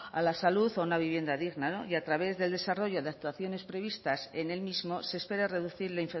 a la salud o a una vivienda digna no y a través del desarrollo de actuaciones previstas en el mismo se espera reducir la